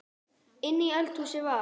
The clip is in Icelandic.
Inni í eldhúsi var